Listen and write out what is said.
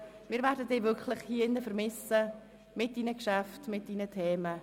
Wir werden Sie mit Ihren Geschäften und Themen in diesem Saal wirklich vermissen.